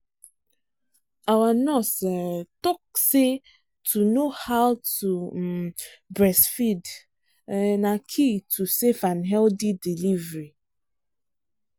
our nurse um talk say to know how um to breastfeed um na key to safe and healthy delivery